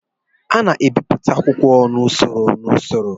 A na-ebipụta akwụkwọ n'usoro n'usoro